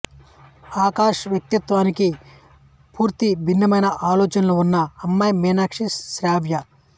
ఆకాష్ వ్యక్తిత్వానికి పూర్తి భిన్నమైన ఆలోచనలు ఉన్న అమ్మాయి మీనాక్షి శ్రావ్య